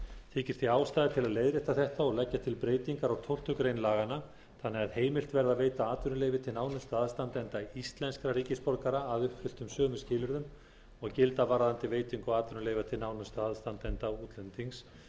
þykir því ástæða til að leiðrétta þetta og leggja til breytingar á tólftu greinar laganna þannig að heimilt verði að veita nánustu aðstandendum íslenskra ríkisborgara atvinnuleyfi að uppfylltum sömu skilyrðum og gilda varðandi veitingu atvinnuleyfa til nánustu aðstandenda útlendings